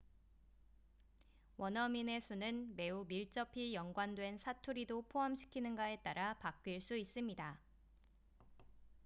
원어민의 수는 매우 밀접히 연관된 사투리도 포함시키는가에 따라 바뀔 수 있습니다